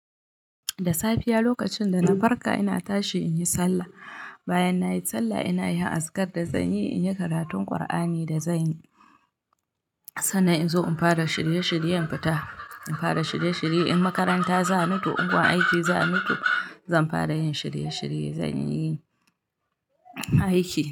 Da safiya lokacin da na farka ina tashi in yi sallah. Bayan na yi sallah ina yin azkar da zanyi, in yi karatun Qur'ani da zanyi. Sannan in zo in fara shirye shiryen fita. In fara shirye shirye in makaranta za ni ko in gun aiki za ni to zan fara yin shirye shirye. Zanyi aiki.